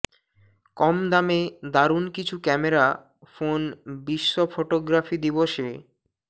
কম দামে দারুণ কিছু ক্যামেরা ফোন বিশ্ব ফোটোগ্রাফি দিবসে